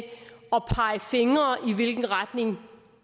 hvilken retning